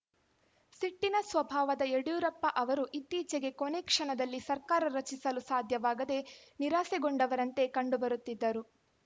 ಸಿಟ್ಟಿನ ಸ್ವಭಾವದ ಯಡಿಯೂರಪ್ಪ ಅವರು ಇತ್ತೀಚೆಗೆ ಕೊನೆ ಕ್ಷಣದಲ್ಲಿ ಸರ್ಕಾರ ರಚಿಸಲು ಸಾಧ್ಯವಾಗದೆ ನಿರಾಸೆಗೊಂಡವರಂತೆ ಕಂಡುಬರುತ್ತಿದ್ದರು